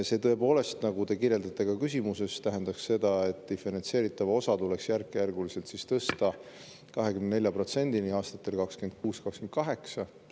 See tõepoolest, nagu te kirjeldasite ka küsimuses, tähendaks seda, et diferentseeritav osa tuleks järkjärguliselt tõsta 24%‑ni aastatel 2026–2028.